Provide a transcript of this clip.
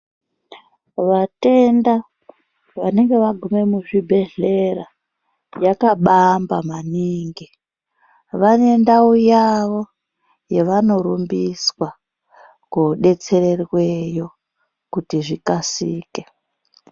Vatenda vanenge vagume muzvibhedhlera yakabamba maningi, vanendau yavo yavanorumbiswa kodetsererweyo kuti zvikasike.